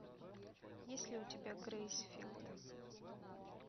есть ли у тебя грейсфилд